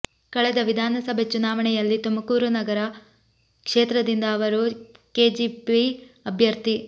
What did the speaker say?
ಕಳೆದ ವಿಧಾನಸಭೆ ಚುನಾವಣೆಯಲ್ಲಿ ತುಮಕೂರು ನಗರ ಕ್ಷೇತ್ರದಿಂದ ಅವರು ಕೆಜೆಪಿ ಅಭ್ಯರ್ಥಿ